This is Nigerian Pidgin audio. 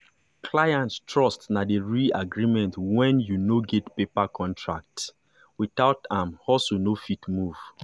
client trust na the real agreement when you no get paper contract. without am hustle no fit move.